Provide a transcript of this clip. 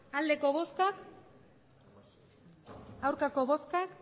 emandako botoak